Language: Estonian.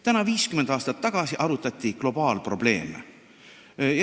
Täna 50 aastat tagasi arutati globaalprobleeme.